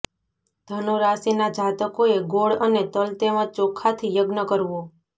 ધનુ રાશિના જાતકોએ ગોળ અને તલ તેમજ ચોખાથી યજ્ઞ કરવો